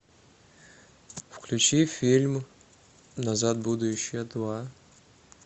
включи фильм назад в будущее два